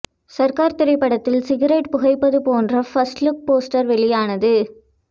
சர்கார் திரைப்படத்தில் சிகரெட் புகைப்பது போன்ற ஃபர்ஸ்ட் லுக் போஸ்டர் வெளியானது